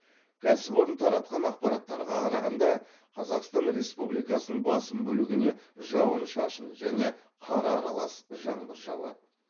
кәсіпорын таратқан ақпараттарға қарағанда қазақстан республикасының басым бөлігіне жауын шашын және қар аралас жаңбыр жауады